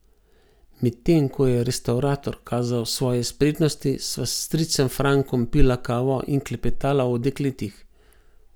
Medtem ko je restavrator kazal svoje spretnosti, sva s stricem Frankom pila kavo in klepetala o dekletih.